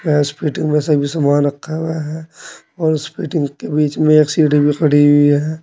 इस फिटिंग में सभी सामान रखा हुआ है और उस फिटिंग के बीच में एक सीढ़ी भी पड़ी हुई है।